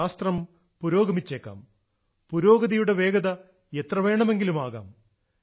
ശാസ്ത്രം പുരോഗമിച്ചേക്കാം പുരോഗതിയുടെ വേഗത എത്ര വേണമെങ്കിലും ആകാം